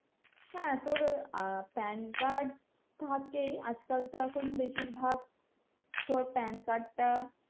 হ্যাঁ তোর pan card থাকেই আজকাল তো এখন বেশিরভাগ তোর pan card টা,